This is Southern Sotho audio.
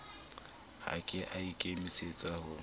ha ke a ikemisetsa ho